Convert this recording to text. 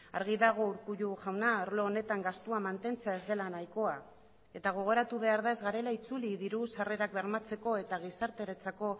argi dago urkullu jauna arlo honetan gastua mantentzea ez dela nahikoa eta gogoratu behar da ez garela itzuli diru sarrerak bermatzeko eta gizarteratzeko